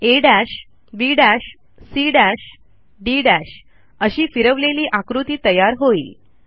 आ B C D अशी फिरवलेली आकृती तयार होईल